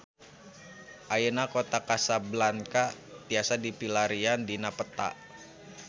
Ayeuna Kota Kasablanka tiasa dipilarian dina peta